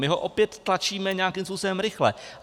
My ho opět tlačíme nějakým způsobem rychle.